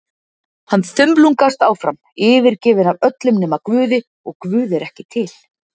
Hann þumlungast áfram, yfirgefinn af öllum nema Guði, og Guð er ekki til.